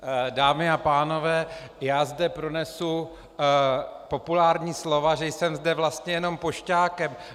Dámy a pánové, já zde pronesu populární slova, že jsem zde vlastně jenom pošťákem.